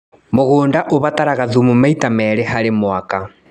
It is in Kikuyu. Mũgũnda ũbataraga thumu maita merĩ harĩ mwaka.